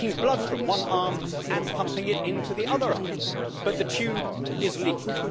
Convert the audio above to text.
it is taking blood from one arm and pumping it into the other arm, but the tube is leaking.